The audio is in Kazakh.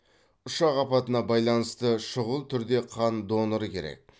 ұшақ апатына байланысты шұғыл түрде қан доноры керек